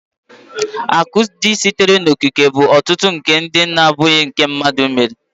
akụ ndị sitere n'okike bụ ọtụtụ akụ ndị na-abụghị nke mmadụ mere